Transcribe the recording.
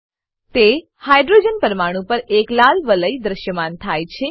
તે hydrogen hydrogen પરમાણુ પર એક લાલ વલય દ્રશ્યમાન થાય છે